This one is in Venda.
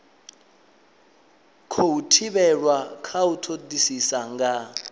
khou thivhelwa u todisisa nga